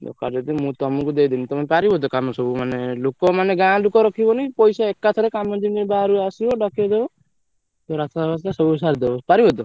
ଦରକାର ଯଦି ମୁ ତଆମକୁ ଦେଇଦେବି ତମେ ପାରିବ ତ କାମ ସବୁ ମାନେ ଲୋକ ମାନେ ଗାଁ ଲୋକ ରଖିବନି ପଇସା ଏକାଥରେ କାମ ଯେମିତି ବାହାରୁ ଆସିବ ଦକେଇ ଦବ ରାସ୍ତା ଫାସ୍ତା ସବୁ ସାରିଦବ ପାରିବ ତ?